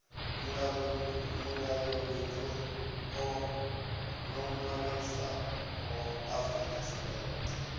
mulayoni ḽo ṅwaliswaho afrika tshipembe